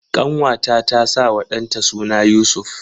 Ƙanwata ta sawa ɗanta suna Yusuf.